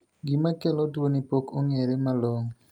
Gima kelo tuoni pok ong'ere malong'o.